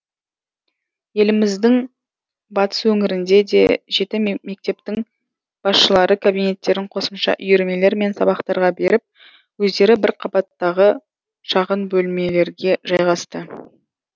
еліміздің батыс өңірінде де жеті мектептің басшылары кабинеттерін қосымша үйірмелер мен сабақтарға беріп өздері бірінші қабаттағы шағын бөлмелерге жайғасты